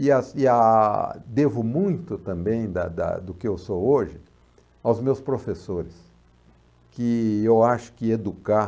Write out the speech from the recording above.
E as e a devo muito também da da do que eu sou hoje aos meus professores, que eu acho que educar...